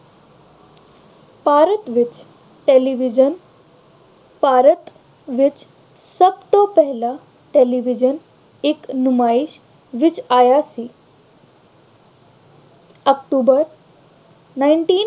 ਭਾਰਤ ਵਿੱਚ television ਭਾਰਤ ਵਿੱਚ ਸਭ ਤੋਂ ਪਹਿਲਾ television ਇੱਕ ਨੁਮਾਇਸ਼ ਵਿੱਚ ਆਇਆ ਸੀ। October ninteen